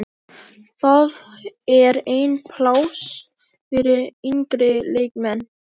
Það er enn pláss fyrir yngri leikmenn.